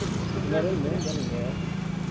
Eu morei muito de aluguel.